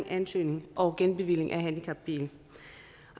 ansøgning og genbevilling af handicapbiler